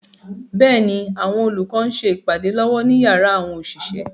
Bẹ́ẹ̀ni, àwọn olùkọ́ ń ṣe ìpàdé lọ́wọ́ ní yàrá àwọn òṣìṣẹ́.